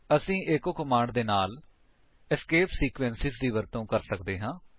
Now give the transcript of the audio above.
ਅਸੀ echo command ਦੇ ਨਾਲ ਏਸਕੇਪ ਸੀਕਵੇਂਸੇਸ ਵੀ ਇਸਤੇਮਾਲ ਕਰ ਸਕਦੇ ਹਾਂ